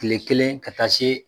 Tile kelen ka taa se